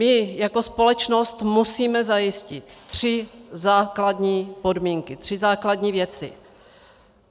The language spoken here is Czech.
My jako společnost musíme zajistit tři základní podmínky, tři základní věci.